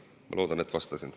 Ma loodan, et vastasin.